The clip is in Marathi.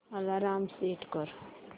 अलार्म सेट कर